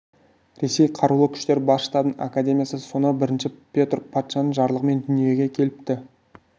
ресей қарулы күштері бас штабының академиясы сонау бірінші петр патшаның жарлығымен дүниеге келіпті